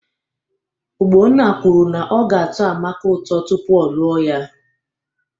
Ogbonna kwuru na ọ ga-atọ Amaka ụtọ tupu ọ lụọ ya